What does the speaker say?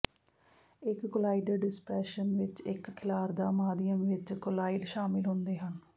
ਇੱਕ colloidal dispersion ਵਿੱਚ ਇੱਕ ਖਿਲਾਰਦਾ ਮਾਧਿਅਮ ਵਿੱਚ ਕੋਲੀਇਡ ਸ਼ਾਮਲ ਹੁੰਦੇ ਹਨ